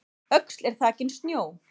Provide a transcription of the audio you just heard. Öxl er þakin snjó